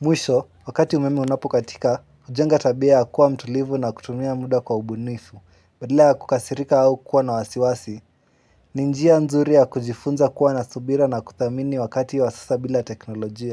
Mwisho, wakati umeme unapokatika, ujenga tabia ya kuwa mtulivu na kutumia muda kwa ubunifu. Badala ya kukasirika au kuwa na wasiwasi, ni njia nzuri ya kujifunza kuwa na subira na kuthamini wakati wa sasa bila teknolojia.